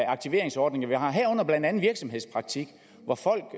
aktiveringsordninger vi har herunder virksomhedspraktik hvor folk